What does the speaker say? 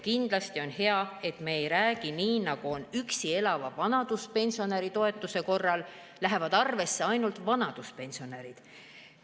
Kindlasti on hea, et me ei räägi nii, nagu on üksi elava vanaduspensionäri toetuse korral, sellest, et arvesse lähevad ainult vanaduspensionärid.